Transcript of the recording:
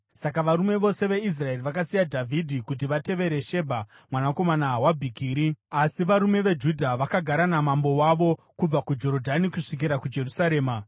Saka varume vose veIsraeri vakasiya Dhavhidhi kuti vatevere Shebha mwanakomana waBhikiri. Asi varume veJudha vakagara namambo wavo kubva kuJorodhani kusvikira kuJerusarema.